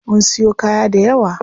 Mun siyo kaya dayawa.